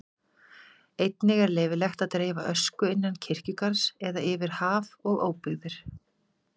Einnig er leyfilegt að dreifa ösku innan kirkjugarðs eða yfir haf og óbyggðir.